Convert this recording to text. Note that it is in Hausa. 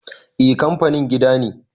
eh kanfanin gida ne